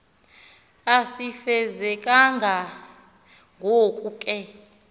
asifezekanga ngoko ke